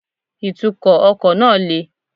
Ìtúkò ọkò náà le